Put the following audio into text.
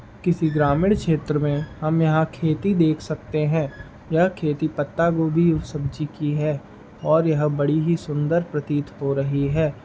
किसी ग्रामीण क्षेत्र मे हम यहाँ खेती देख सकते हैं। यह खेती पत्ता गोबी वो सब्जी की है और यह बड़ी ही सुंदर प्रतीत हो रही है।